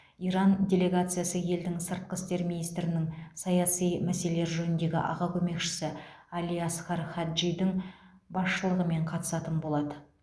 иран делегациясы елдің сыртқы істер министрінің саяси мәселелер жөніндегі аға көмекшісі али асгар хаджидің басшылығымен қатысатын болады